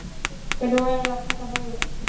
Hvernig væri að taka það upp?